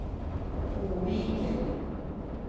Oviken